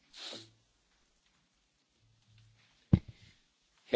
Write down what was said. Herr Präsident, meine sehr verehrten Damen und Herren Abgeordneten!